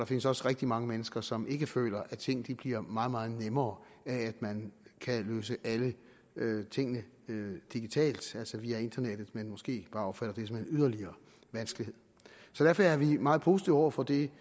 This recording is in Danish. findes også rigtig mange mennesker som ikke føler at ting bliver meget meget nemmere af at man kan løse alle tingene digitalt altså via internettet men måske bare opfatter det som en yderligere vanskelighed derfor er vi meget positive over for de